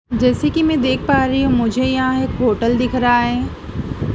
जैसे कि मैं देख पा रही हूं मुझे यहां एक होटल दिख रहा है।